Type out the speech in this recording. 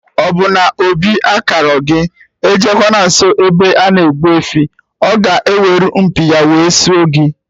Ọbụrụ na obi akarọ gị, ejekwana nsọ ebe ana egbu efi oo, ọ ga-eweru mpi ya wee sụọ gị